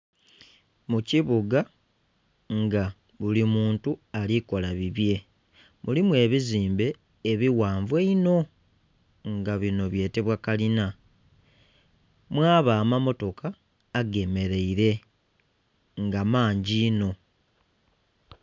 Mu kibuga nga buli muntu ali kola bibye. Mulimu ebizimbe ebighanvu einho nga bino byetebwa kalina. Mwaba amammotoka agemeleile nga mangi inho.